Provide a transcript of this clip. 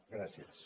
gràcies